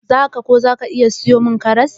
Za ka / ki iya kara siyo karas?